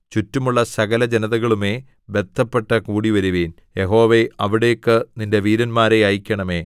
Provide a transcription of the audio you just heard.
ചുറ്റുമുള്ള സകലജനതകളുമേ ബദ്ധപ്പെട്ടു കൂടിവരുവിൻ യഹോവേ അവിടേക്ക് നിന്റെ വീരന്മാരെ അയയ്ക്കണമേ